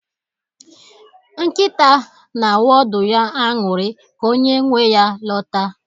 Nkịta na-awụ ọdụ ya aṅụrị ka onye nwe ya lọta.